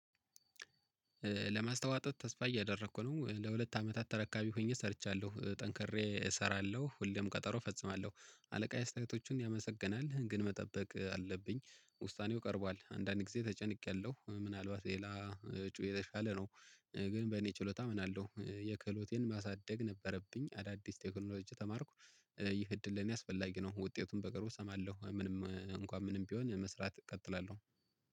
ለማስተዋጠጥ ተስፋ እያደረኩ ነው ለሁለት አመታት ተረካቢ ሆኜ ሰርቻለሁ ጠንክሬ እሰራለሁ ሁሌም ቀጠሮ እፈጽማለሁ አለቃ አስተያየቶቹን ያመሰግናል ግን መጠበቅ አለብኝ። ውሳኔው ቀርቧል አንዳን ግዜ ተጨንቄያለሁ ምናልባት ሌላ እጩ የተሻለ ነው። ግን በእኔ ችሎታ አምናለሁ የክህሎቴን ማሳደግ ነበረብኝ አዳዲስ ቴክኖሎጂ ተማርኩ። ይህ እድል ለኔ አስፈላጊ ነው። ውጤቱን በቅርቡ እሰማለሁ ምንም እንኳን ምንም ቢሆን መስራት እቀጥላለሁ።